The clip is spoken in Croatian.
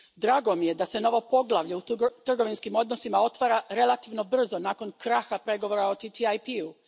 Drago mi je da se novo poglavlje u trgovinskim odnosima otvara relativno brzo nakon kraha pregovora o TTIP u.